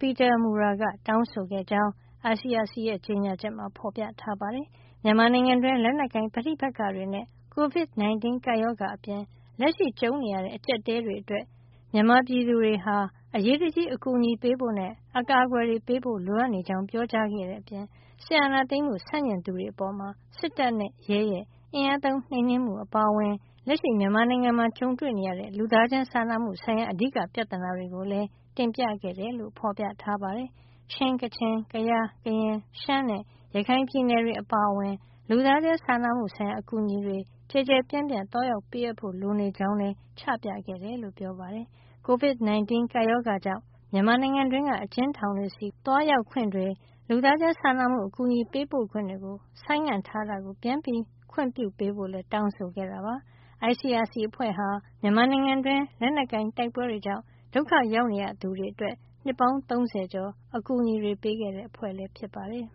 Peter Maurer က တောင်းဆိုခဲ့ကြောင်း ICRC ရဲ့ ကြေညာချက်မှာ ဖေါ်ပြထားပါတယ်။ မြန်မာနိုင်ငံတွင်း လက်နက်ကိုင် ပဋိပက္ခတွေနဲ့ Covid 19 ကပ်ရောဂါအပြင် လက်ရှိကြုံနေရတဲ့ အကြပ်အတည်းတွေအတွက် မြန်မာပြည်သူတွေကို အရေးတကြီးအကူအညီပေးဖို့နဲ့ အကာကွယ်ပေးဖို့ လိုအပ်နေကြောင်း ပြောကြားခဲ့တဲ့ အပြင် စစ်အာဏာသိမ်းမှုဆန့်ကျင်သူတွေအပေါ် စစ်တပ်နဲ့ရဲရဲ့ အင်အားသုံးနှိမ်နင်းမှု အပါအဝင် လက်ရှိမြန်မာနိုင်ငံမှာ ကြုံတွေ့နေရတဲ့ လူသားချင်းစာနာမှုဆိုင်ရာ အဓိကပြဿနာတွေကိုလည်း တင်ပြခဲ့တယ်လို့ ဖေါ်ပြထားပါတယ်။ ချင်း၊ ကချင်၊ ကယား၊ ကရင်၊ ရှမ်းနဲ့ ရခိုင်ပြည်နယ်တွေအပါအဝင် လူသားချင်းစာနာမှု ဆိုင်ရာ အကူအညီတွေ ကျယ်ကျယ်ပြန့်ပြန့် သွားရောက် ပေးအပ်ဖို့လိုအပ်နေကြောင်းလည်း ချပြခဲ့တယ်လို့ ဆိုပါတယ်။ Covid 19 ကပ်ရောဂါ ကြောင့် မြန်မာနိုင်ငံတွင်းက အကျဉ်းထောင်တွေဆီ သွားရောက်ခွင့်တွေ၊ လူသားချင်းစာနာမှု အကူညီပေးပို့ခွင့်တွေ ဆိုင်းငံ့ထားတာကို ပြန်ခွင့်ပြုပေးဖို့လည်း တောင်းဆိုခဲ့တာပါ။ ICRC အဖွဲ့ဟာ မြန်မာနိုင်ငံတွင်း လက်နက်ကိုင်တိုက်ပွဲတွေ ကြောင့် ဒုက္ခရောက်ရသူတွေအတွက် နှစ်ပေါင်း ၃၀ ကျော် အကူညီပေးခဲ့တဲ့ အဖွဲ့ဖြစ်ပါတယ်